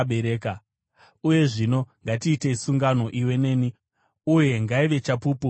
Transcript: Uya zvino, ngatiite sungano, iwe neni, uye ngaive chapupu pakati pedu.”